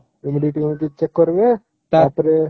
humidity check କରିବ ତା ପରେ